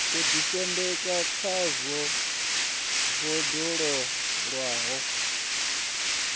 ḓisendeka khawo bodzanḓala yo ṅwalwa